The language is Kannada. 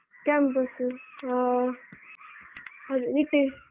Campus ಆ .